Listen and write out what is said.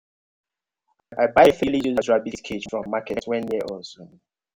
i buy fairly used rabbit cage from market wey near us.